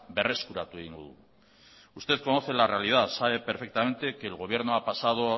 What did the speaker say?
berreskuratu egingo dugu usted conoce la realidad sabe perfectamente que el gobierno ha pasado